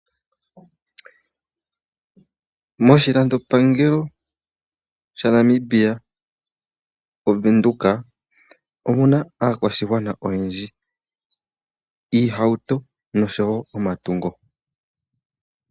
Moshilando pangelo sha Namibia oVenduka, omuna aakwashigwana oyendji, iihauto noshowo omatungo.